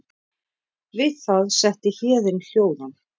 Við það setti Héðin hljóðan.